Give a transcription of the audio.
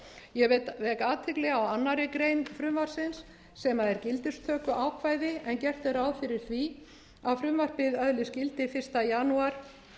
ég vek athygli á annarri grein frumvarpsins sem er gildistökuákvæði en gert er ráð fyrir því að frumvarpið öðlist gildi fyrsta janúar